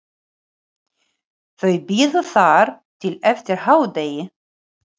Þau biðu þar til eftir hádegi.